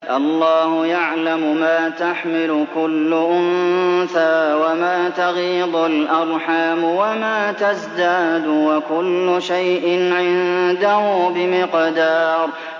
اللَّهُ يَعْلَمُ مَا تَحْمِلُ كُلُّ أُنثَىٰ وَمَا تَغِيضُ الْأَرْحَامُ وَمَا تَزْدَادُ ۖ وَكُلُّ شَيْءٍ عِندَهُ بِمِقْدَارٍ